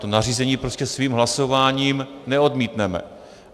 To nařízení prostě svým hlasováním neodmítneme.